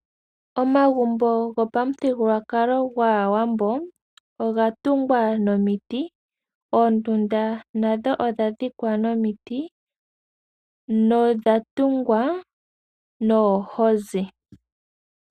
Omagumbo gopamuthigulwakalo gwAawambo oga tungwa nomiti. Oondunda nadho odha dhikwa nomiti nodha tungwa noohozi.